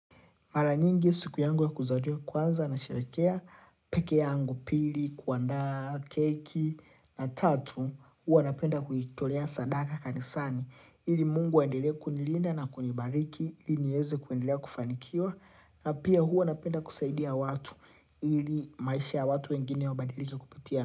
Mara nyingi siku yangu ya kuzaliwa kwanza nasherehekea pekee yangu pili, kuandaa, keki, na tatu, huwa napenda kuitolea sadaka kanisani. Ili Mungu aendelea kunilinda na kunibariki, ili nieze kuendelea kufanikiwa, na pia huwa napenda kusaidia watu, ili maisha ya watu wengine wabadilike kupitia.